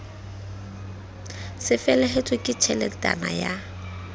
c felehetswe ke tjheletana ya